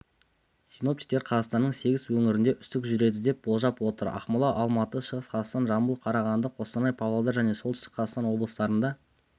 синоптиктер қазақстанның сегіз өңірінде үсік жүреді деп болжап отыр ақмола алматы шығыс қазақстан жамбыл қарағанды қостанай павлодар және солтүстік қазақстан облыстарында